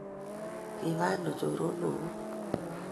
kiba ano choronokuk?